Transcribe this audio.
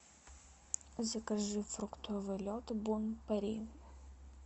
закажи фруктовый лед бон пари